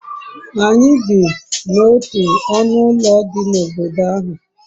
anyi bi n'otu onu ulo di n'obodo ahu